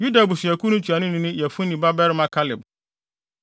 Yuda abusuakuw no ntuanoni ne Yefune babarima Kaleb;